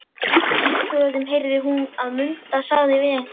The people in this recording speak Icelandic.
Úti í tröðum heyrði hún að Munda sagði við einhvern